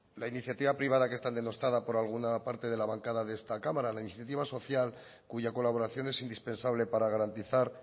la iniciativa privada que está denostada por alguna parte de la bancada de esta cámara la iniciativa social cuya colaboración es indispensable para garantizar